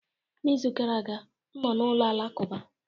n'izu gara aga, m nọ na ụlọ alakụba